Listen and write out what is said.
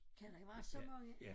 Kan der være så mange?